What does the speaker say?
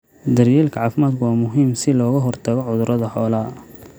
Daryeelka caafimaadku waa muhiim si looga hortago cudurrada xoolaha.